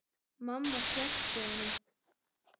Mamma sleppti honum.